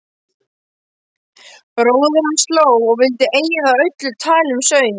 Bróðir hans hló og vildi eyða öllu tali um söng.